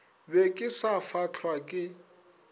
be ke sa fahlwa ke